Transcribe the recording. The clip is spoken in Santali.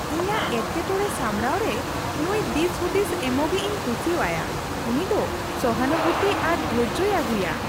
ᱤᱧᱟᱹᱜ ᱮᱴᱠᱮᱴᱚᱲᱮ ᱥᱟᱢᱲᱟᱣᱨᱮ ᱱᱩᱭ ᱫᱤᱥᱼᱦᱩᱫᱤᱥ ᱮᱢᱚᱜᱤᱡ ᱤᱧ ᱠᱩᱥᱤᱣᱟᱭᱟ ᱾ ᱩᱱᱤ ᱫᱚ ᱥᱚᱦᱟᱱᱩᱵᱷᱩᱛᱤ ᱟᱨ ᱫᱷᱳᱨᱡᱳᱭ ᱟᱹᱜᱩᱭᱟ ᱾